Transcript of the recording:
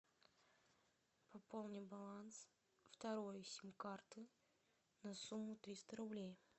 пополни баланс второй сим карты на сумму триста рублей